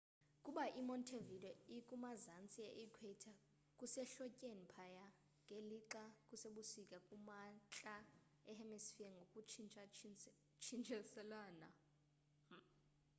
kuba i montevideo ikumazanzi e equator kusehlotyeni phaya ngelixa kusebusika kumantla e hemisphere ngokuntshintshiselana